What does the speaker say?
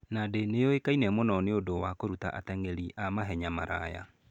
Nandi nĩ yũĩkaine mũno nĩ ũndũ wa kũruta ateng'eri a mahenya maraya.